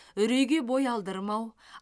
үрейге бой алдырмау